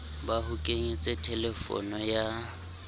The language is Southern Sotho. ba ho kenyetse thelefono ya